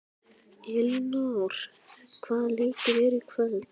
Elínór, hvaða leikir eru í kvöld?